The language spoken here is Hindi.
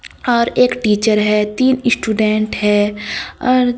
और एक टीचर है तीन स्टूडेंट है और--